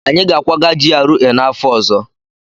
Anyị ga-akwaga GRA n'afọ ọzọ